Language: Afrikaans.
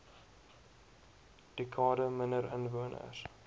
dekade minder inwoners